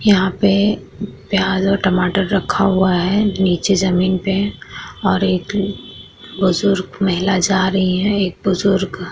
यहाँ पे प्याज़ और टमाटर रखा हुआ है निचे जमीन पे और एक बुजुर्ग महिला जा रही है एक बुजुर्ग अ --